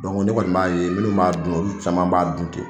ne kɔni m'a ye minnu m'a dunna olu caman b'a dun ten.